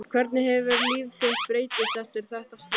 Hvernig hefur líf þitt breyst eftir þetta slys?